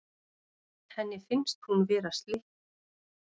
Henni finnst hún vera slytti.